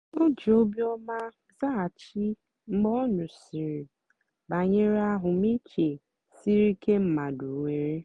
o jì óbìọ́mà zághachì mgbe ọ nụ́sị̀rị́ bànyèrè àhụ́mị̀chè sìrí ìké mmadụ́ nwèrè.